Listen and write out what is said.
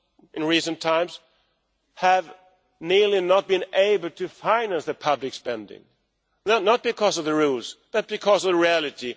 in recent times have nearly not been able to finance the public spending, not because of the rules but because of reality.